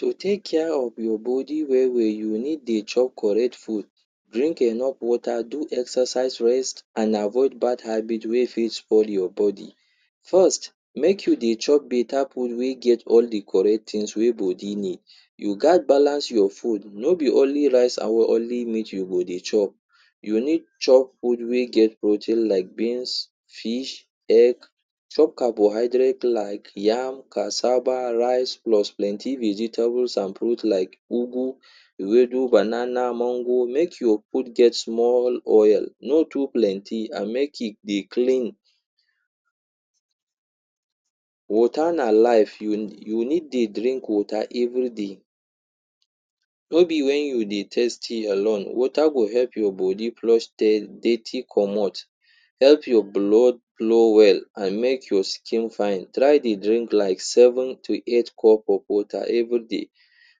To take care of your body well well, you need dey chop correct food. Drink enough water, do exercise, rest, and avoid bad habits wey spoil your body. First, make you dey chop better food wey get all the correct things wey body need. You gat balance your food. No be only rice and only meat you go dey chop. You need chop food wey get protein like beans, fish, egg, chop carbohydrates like yam, cassava, rice, plus plenty vegetables and fruits like ugu, ewedu, banana, mango. Make your food get small oil, no too plenty and make e dey clean. Water na life, you you need dey drink water every day. No be when you dey thirsty alone. Water go help your body flush detty comot, help your blood flow well, and make your skin fine. Try dey drink like seven to eight cup of water every day.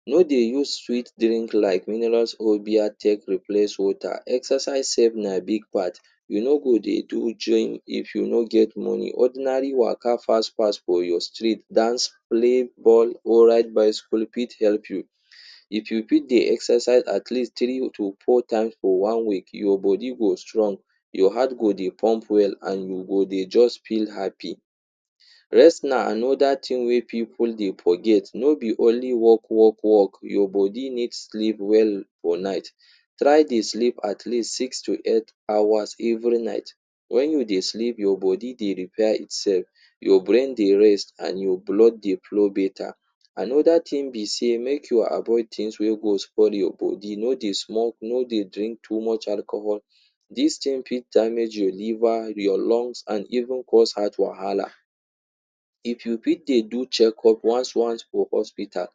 No dey use sweet drink like minerals or beer take replace water. Exercise sef na big part. You no go dey do gym if you no get money. Ordinary waka fast fast for your street, dance, play ball, or ride bicycle fit help you. If you fit dey exercise at least three to four times for one week, your body go strong, your heart go dey pump well and you go dey just feel happy. Rest na another thing wey pipu dey forget. No be only work, work, work. Your body needs sleep well for night. Try dey sleep at least six to eight hours every night. When you dey sleep, your body dey repair itself, your brain dey rest and your blood dey flow better. Another thing be sey make you avoid things wey go spoil your body. No dey smoke, no dey drink too much alcohol. Dis thing fit damage your liver, your lungs, and even cause heart wahala. If you fit dey do check-up once once for hospital um,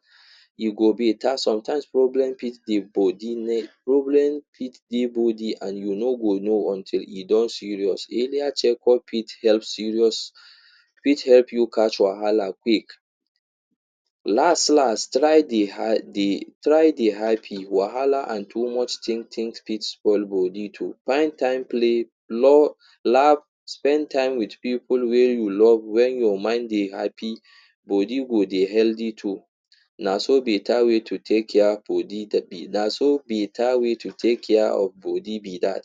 you go better. Sometimes problem fit the body, problem fit dey body and you no go know until e don serious. Earlier check-up fit help save us, fit help you catch wahala quick. Last, last try dey ha dey try dey happy. Wahala and too much think think fit spoil body too. Find time play, love, laugh, spend time with pipu wey you love. When your mind dey happy, body go dey healthy too. Naso better way to take care of body naso better way to take care of body be that.